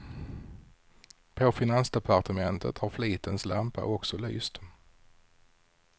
På finansdepartementet har flitens lampa också lyst.